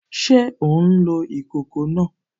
Ṣé ò ń lo ìkòkò náà?